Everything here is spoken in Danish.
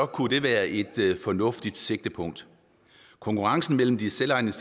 kunne det være et fornuftigt sigtepunkt konkurrencen mellem de selvejende